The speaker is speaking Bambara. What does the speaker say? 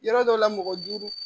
Yɔrɔ dɔ la mɔgɔ duuru